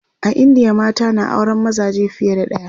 a indiya mata na auran mazaje fiye da ɗaya